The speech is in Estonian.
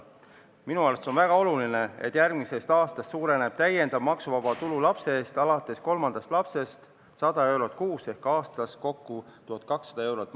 Minu arust on väga oluline, et järgmisest aastast suureneb täiendav maksuvaba tulu lapse eest alates kolmandast lapsest 100 eurot kuus ehk maksuvaba tulu aastas kokku on 1200 eurot.